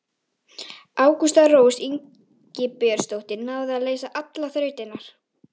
Ágústa Rós Ingibjörnsdóttir náði að leysa allar þrautirnar.